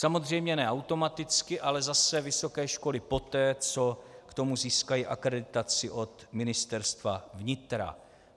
Samozřejmě ne automaticky, ale zase vysoké školy poté, co k tomu získají akreditaci od Ministerstva vnitra.